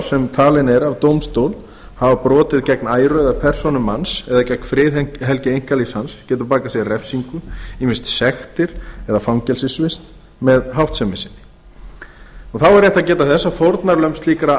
sem talinn er af dómstól hafa brotið gegn æru eða persónu manns eða gegn friðhelgi einkalífs hans getur bakað sér refsingu ýmist sektir eða fangelsisvist með háttsemi sinni þá er rétt að geta þess að fórnarlömb slíkra